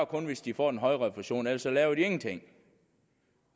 kun hvis de får en højere refusion ellers laver de ingenting